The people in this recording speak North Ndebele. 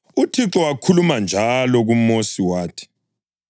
UThixo wakhuluma njalo kuMosi wathi,